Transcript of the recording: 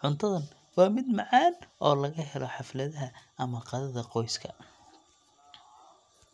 Cuntadan waa mid macaan oo laga helo xafladaha ama qadada qoyska.